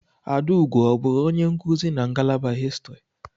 Adaugo ọ bụụrụ onye nkuzi na ngalaba Histri?